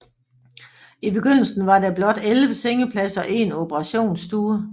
I begyndelsen var der blot 11 sengepladser og én operationsstue